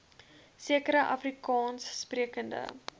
sekere afrikaans sprekende